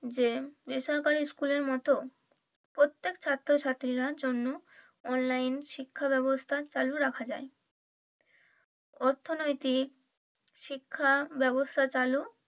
যে বেসরকারি স্কুলের মতো প্রত্যেক ছাত্র ছাত্রীরা জন্য online শিক্ষা ব্যবস্থা চালু রাখা যায় অর্থনৈতিক শিক্ষা ব্যাবস্থা চালু